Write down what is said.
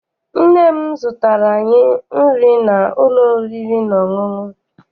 Nne m zụtara anyị nri n'ụlọ oriri na ọṅụṅụ.